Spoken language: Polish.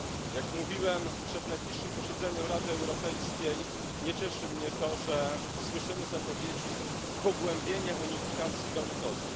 Jak mówiłem, przed najbliższym posiedzeniem Rady Europejskiej nie cieszy mnie to, że słyszymy zapowiedzi pogłębienia unifikacji walutowej.